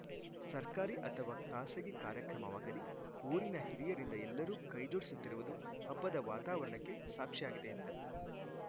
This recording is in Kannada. ಸರ್ಕಾರಿ ಅಥವಾ ಖಾಸಗಿ ಕಾರ್ಯಕ್ರಮವಾಗಲಿ ಊರಿನ ಹಿರಿಯರಿಂದ ಎಲ್ಲರೂ ಕೈಜೋಡಿಸುತ್ತಿರುವುದು ಹಬ್ಬದ ವಾತಾವರಣಕ್ಕೆ ಸಾಕ್ಷಿಯಾಗಿದೆ ಎಂದರು